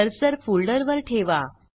cursor फोल्डरवर ठेवा